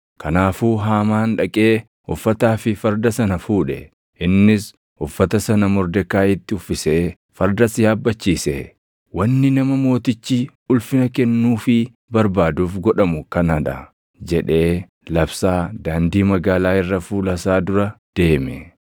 Kanaafuu Haamaan dhaqee uffataa fi farda sana fuudhe. Innis uffata sana Mordekaayiitti uffisee fardas yaabbachiisee, “Wanni nama mootichi ulfina kennuufii barbaaduuf godhamu kanaa dha!” jedhee labsaa daandii magaalaa irra fuula isaa dura deeme.